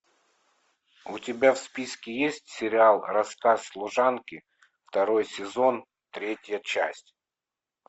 у тебя в списке есть сериал рассказ служанки второй сезон третья часть